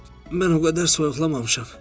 Mən o qədər soyuqlamamışam.